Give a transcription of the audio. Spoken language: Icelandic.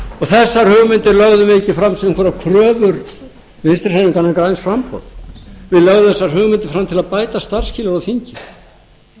þessar hugmyndir lögðum við ekki fram sem einhverjar kröfur vinstri hreyfingarinnar græns framboðs við lögðum þessar hugmyndir fram til að bæta starfsskilyrði á þingi